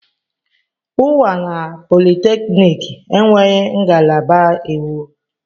Unwanna polytechniki enweghị ngalaba iwu.